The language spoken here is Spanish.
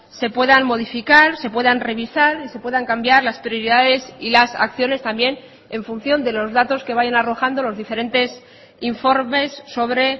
se puedan modificar se puedan revisar y se puedan cambiar las prioridades y las acciones también en función de los datos que vayan arrojando los diferentes informes sobre